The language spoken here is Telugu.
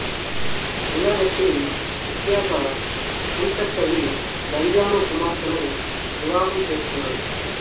గంగాధర్ సింగ్ ప్రఖ్యాత గుంషర్ కవి భంజాను కుమార్తెను వివాహం చేసుకున్నాడు